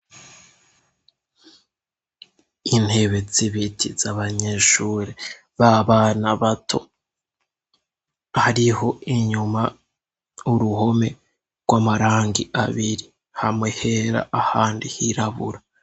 Intebetsi ibitiza abanyeshure b'a bana bato hariho inyuma uruhome rw'amarangi abiri hamwe hera ahandi hirabura.